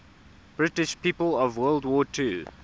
british people of world war ii